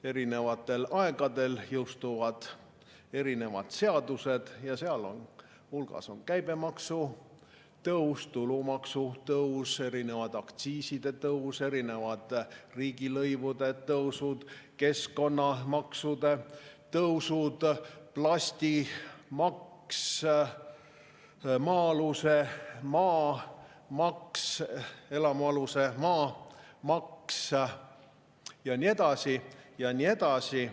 Eri aegadel jõustuvad erinevad seadused ja seal hulgas on käibemaksu tõus, tulumaksu tõus, aktsiiside tõusud, riigilõivude tõusud, keskkonnamaksude tõusud, plastimaks, elamualuse maa maks ja nii edasi ja nii edasi.